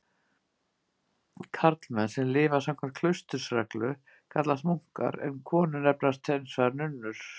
Karlmenn sem lifa samkvæmt klausturreglu kallast munkar en konur nefnast hins vegar nunnur.